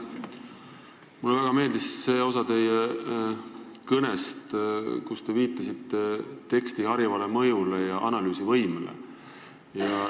Mulle väga meeldis see osa teie kõnest, kus te viitasite teksti harivale mõjule ja analüüsivõimele.